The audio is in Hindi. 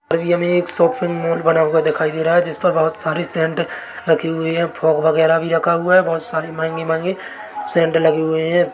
अभी हमे एक सॉफ्ट मूड बना हुआ दिखाई दे रहा है जिसमे बहोत सारे सेंट रखे हुए है फॉग वगैरा भी रखा हुआ है बहोत सारे महंगे महंगे सेंट लगे हुए है।